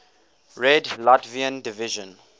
red latvian division